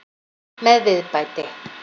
Með viðbæti.